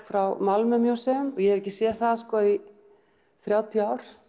frá Malmö og ég hef ekki séð það í þrjátíu ár